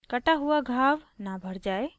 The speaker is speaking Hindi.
b कटा हुआ घाव न भर जाय